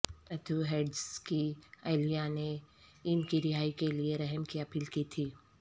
Matthew Hedges کی اہلیہ نے ان کی رہائی کے لیے رحم کی اپیل کی تھی